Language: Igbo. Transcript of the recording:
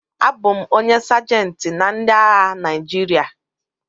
Abụ m onye Sajentị na ndị agha Naịjirịa